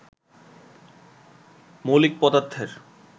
মৌলিক পদার্থের